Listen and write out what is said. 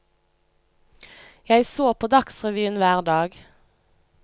Jeg så på dagsrevyen hver dag.